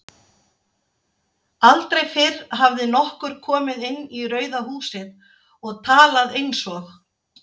Aldrei fyrr hafði nokkur komið inn í Rauða húsið og talað einsog